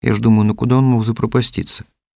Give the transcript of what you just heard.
я уж думаю но куда он мог запропастится